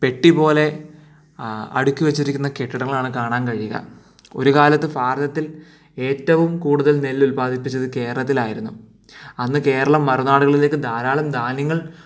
പെട്ടിപോലെ അടുക്കി വച്ചിരിക്കുന്ന കെട്ടിടങ്ങളാണ് കാണാൻ കഴിയുക ഒരുകാലത്ത് ഭാരതത്തിൽ ഏറ്റവും കൂടുതൽ നെല്ല് ഉൽപാദിപ്പിച്ചത് കേരളത്തിൽ ആയിരുന്നു അന്ന് കേരളം മറുനാടുകളിലേക്ക് ധാരാളം ധാന്യങ്ങൾ